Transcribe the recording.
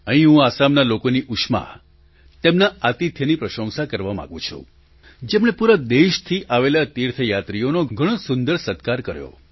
અહીં હું આસામના લોકોના ઉમળકા ઉષ્મા તેમના આતિથ્યની પ્રશંસા કરવા માગું છું જેમણે પૂરા દેશથી આવેલા તીર્થયાત્રીઓનો ઘણો સુંદર સત્કાર કર્યો